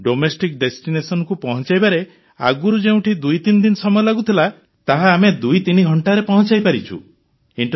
domestic ଡେଷ୍ଟିନେସନକୁ ପହଞ୍ଚାଇବାରେ ଆଗରୁ ଯେଉଁଠି 23 ଦିନ ସମୟ ଲାଗୁଥିଲା ତାହା ଆମେ 23 ଘଣ୍ଟାରେ ପହଞ୍ଚାଇପାରୁଛୁ